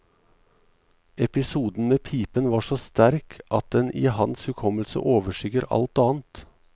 Episoden med pipen var så sterk at den i hans hukommelse overskygger alt annet.